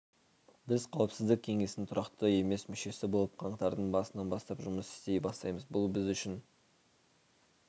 біз қауіпсіздік кеңесінің тұрақты емес мүшесі болып қаңтардың басынан бастап жұмыс істей бастаймыз бұл біз үшін